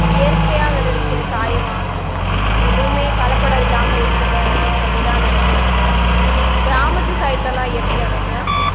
இயற்கையா விளைவிக்கிற காய வாங்கணும் எதுவுமே கலப்படம் இல்லாம இருக்கணும் அப்படி சொல்லிதான் நினைக்கிறாங்க கிராமத்து side லேலாம் எப்படி அனன்யா